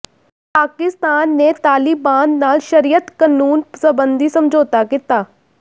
ਪਾਕਿਸਤਾਨ ਨੇ ਤਾਲਿਬਾਨ ਨਾਲ ਸ਼ਰੀਅਤ ਕਨੂੰਨ ਸਬੰਧੀ ਸਮਝੌਤਾ ਕੀਤਾ